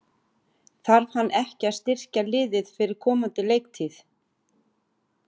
Þarf hann ekki að styrkja liðið fyrir komandi leiktíð?